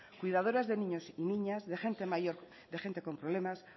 cuidadoras de niños y niñas de gente mayor de gente con problemas